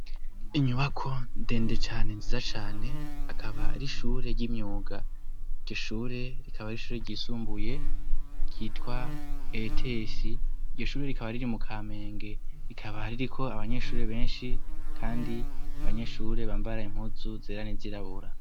Inyubako ndende cane nziza cane akaba ar'ishure ry'imyuga. Iryo shure rikaba ar'ishure ryisumbuye ryitwa Ets .Iryo shure rikaba riri mu kamenge rikaba ririko abanyeshuri benshi kandi abanyeshure bambara impunzu zera nizirabura.